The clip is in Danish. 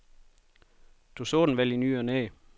Du så den vel i ny og næ.